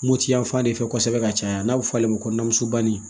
Mopti yan fan de fɛ kosɛbɛ ka caya n'a bɛ fɔ ale ma ko nanmubanin